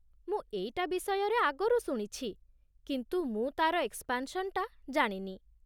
ମୁଁ ଏଇଟା ବିଷୟରେ ଆଗରୁ ଶୁଣିଛି, କିନ୍ତୁ ମୁଁ ତା'ର ଏକ୍ସପାନ୍‌ସନ୍‌ଟା ଜାଣିନି ।